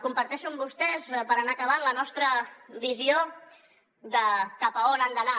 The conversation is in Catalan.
comparteixo amb vostès per anar acabant la nostra visió de cap a on han d’anar